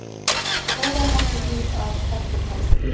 Á stóran þátt í því að Höttur komst upp.